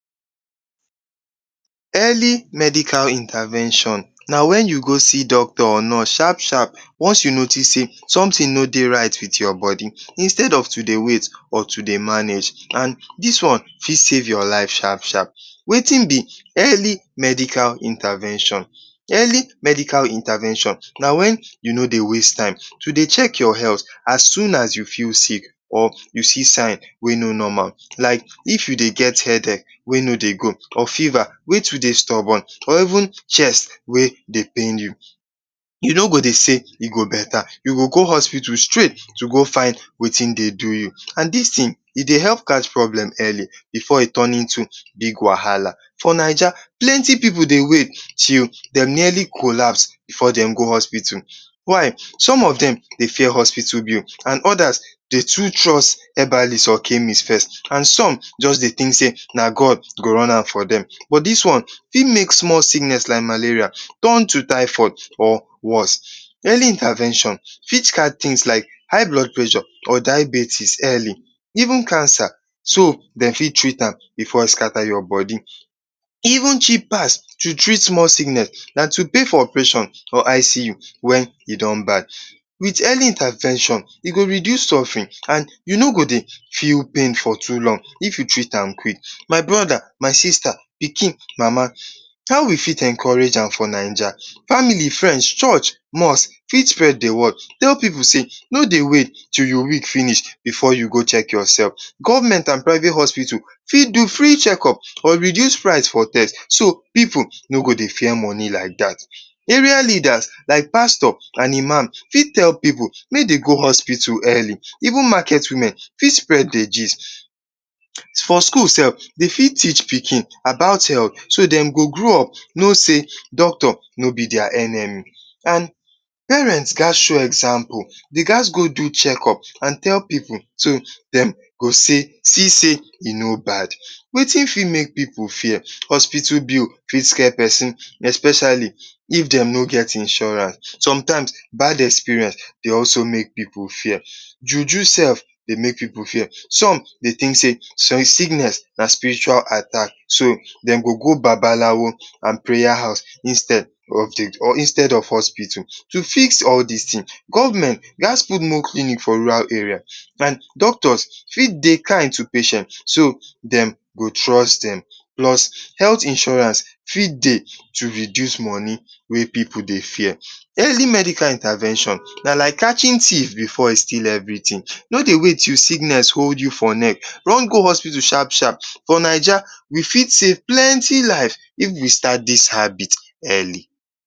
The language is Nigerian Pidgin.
Earli medical intavention na wen you go see doctor or nurse shap-shap once you notice sey somtin no dey right with your bodi instead to dey wait or to dey manage. And dis one fit save your life sharp-sharp, wetin be earli medical intervention? Earli medical intervention na wen you no dey waste time to dey check your health as soon as you feel sick or you see sign wey no normal like if you dey get headache wey no dey go like feva wey too dey stobon or even chest wey dey pain you, you no go dey sey e go beta, you go go hospital straight go find wetin dey do you and dis tin, e dy help catch problem earli before e turn to big wahala. For Naija, plenti pipu dey wait till dey nearly colapse before dem go hospital, why? Dem dey fear hospital bill and odas too trust habalis or chemis first. And some just dey tink sey na god go run am for dem. For dis one fit make small sickness like malaria turn to thyphoid or worse. Earli intervention fit guide tins like high blood pressure or diabetes earli. Even cancer so dem fit treat am before e scata your bodi. E evn more cheap to treat more sickness dan to pay for operation or ICU wen e don bad. With earli intervention, e go dey reduce surfering e no go dey pain for too long if you treat am quick. My broda, my sista, pikin. Mama how we fit encourage am for Naija? Famili, frend, church, mosque fit spred the word, tell pipu sey, no dey wait till you weak finish before you go chek your self. Government and private hospital fit do free check up or reduce praise for test so pipu no go dey fear moni like dat. Area leaders like pastor and imam fit tell pipu mey dey go hospital earli, even maket women fit spread the gist. Skul sef de fit teach pikin about health, e go grow up no sey, doctor no be dia enemi, parent ghas two example, the ghas go chek up and tell pipu de go see sey e no bad. Wetin make pipu fear? Hospital bill fit skia pesin especiali if dey no get insurance, somtime, bad experience dey also make pipu fear, juju sef dey make pipu fear. Some dey tink sey some sickness na spiritual attack so dem go go babalawo and preya house instead of hospital. To fix all dis tin, government lets put more clinic for rura area and doctor fit dey king to patient so dem go trust dem. Plus helt insurance fit dey to reduce moni wey pipu det fear. Earli medical intervention na like catchin thief before e still every tin. No dey wait till sickness hold you for neck run go hospital shap-shap. For Naija we fit safe plenti live if we start dis habit earli.